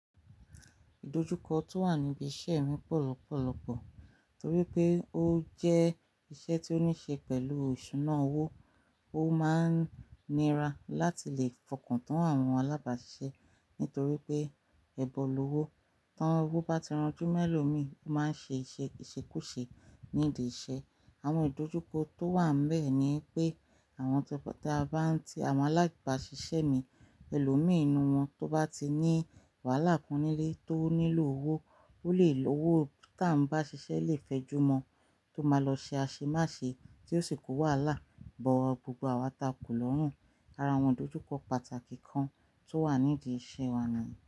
Ìdojúkọ tó wà níbi iṣẹ́ mi pọ̀ lọ́pọ̀lọ́pọ̀ torí pé ó jẹ́ iṣẹ́ tó níṣe pẹ̀lú ìṣúná owó. Ó máa ń nira láti lè fọkàn tán àwọn alábàáṣiṣẹ́ nítorí pé ẹbọlú owó. Tán owó bá ti rọjú mẹ́lò mi, ó máa ṣe ìṣekúṣe nídi iṣẹ́. Àwọn ìdojúkọ tó wàn bẹ́ẹ̀ ni pé àwọn ta bá ti àwọn alábàáṣiṣẹ́ mi elo mi inú wọn tó bá ti ní wàhálà kan nílé tó nílò owó, ó lè lo owó tá ń bá ṣiṣẹ́ lè fẹjú mọ tó máa lọ ṣe aṣemáṣe tí ó sì kó wàhálà bọ gbogbo àwa takù lọ́rùn. Ara àwọn ìdojúkọ pàtàkì kan tó wà nídi iṣẹ́ wa ni.